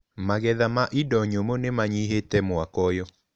Magetha ma indo nyũmũ nĩmanyihĩte mwaka ũyũ.